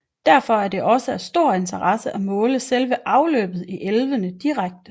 Derfor er det også af stor interesse at måle selve afløbet i elvene direkte